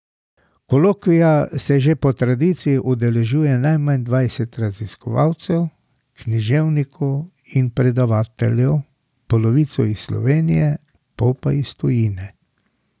Kolokvija se že po tradiciji udeležuje najmanj dvanajst raziskovalcev, književnikov in predavateljev, polovico iz Slovenije, pol pa iz tujine.